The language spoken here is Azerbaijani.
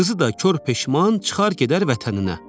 Qızı da kor peşman çıxar gedər vətəninə.